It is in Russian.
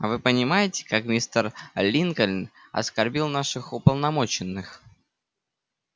а вы понимаете как мистер линкольн оскорбил наших уполномоченных